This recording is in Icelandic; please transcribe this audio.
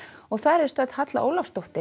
þar er stödd Halla Ólafsdóttir